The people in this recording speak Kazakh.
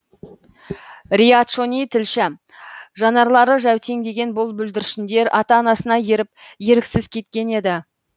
риат шони тілші жанарлары жәутеңдеген бұл бүлдіршіндер ата анасына еріп еріксіз кеткен еді